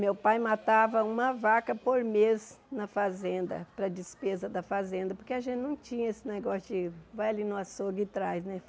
Meu pai matava uma vaca por mês na fazenda, para a despesa da fazenda, porque a gente não tinha esse negócio de vai ali no açougue e traz, né?